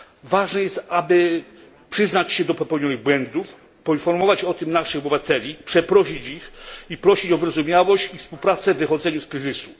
Ważne jest, aby przyznać się do popełnionych błędów, poinformować o tym naszych obywateli, przeprosić ich, prosić o wyrozumiałość i współpracę w wychodzeniu z kryzysu.